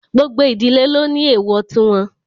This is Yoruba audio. Gbogbo ìdílé ló ní èwọ̀ tí wọn